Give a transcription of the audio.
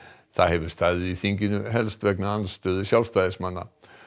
það hefur staðið í þinginu helst vegna andstöðu Sjálfstæðismanna